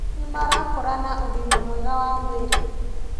Nĩmarakũra na ũgima mwega wa mwĩrĩ